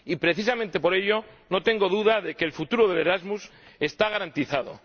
Y, precisamente por ello, no tengo duda de que el futuro del Erasmus está garantizado.